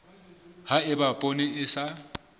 ha eba poone e sa